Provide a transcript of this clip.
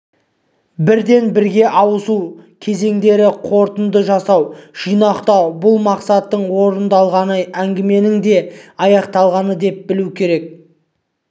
бірден бірге ауысу кезеңдері қорытынды жасау жинақтау бұл мақсаттың орындалғаны әңгіменің де аяқталғаны деп білу керек